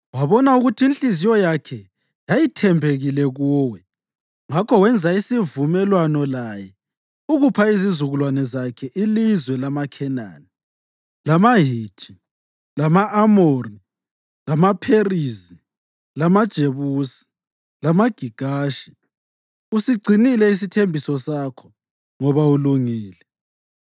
Wabona ukuthi inhliziyo yakhe yayithembekile kuwe, ngakho wenza isivumelwano laye ukupha izizukulwane zakhe ilizwe lamaKhenani, lamaHithi, lama-Amori, lamaPherizi, lamaJebusi lamaGigashi. Usigcinile isithembiso sakho ngoba ulungile.